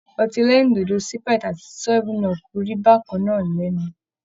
Ọtí ẹlẹ́rìndòdò Sprite ati 7up rí bákan náà lẹ́nu.